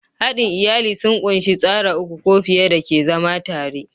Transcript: Haɗin iyali sun ƙunshi tsara uku ko fiye da ke zama tare.